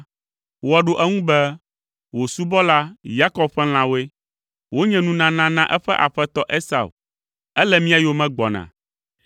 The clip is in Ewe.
woaɖo eŋu be, “Wò subɔla, Yakob ƒe lãwoe. Wonye nunana na eƒe aƒetɔ Esau! Ele mía yome gbɔna!”